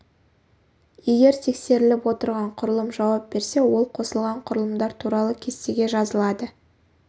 егер тексеріліп отырған құрылым жауап берсе ол қосылған құрылымдар туралы кестеге жазылады